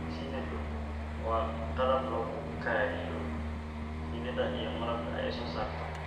Shinnidu waa qalab lagu kaydiyo shinnida iyo malabka ay soo saarto.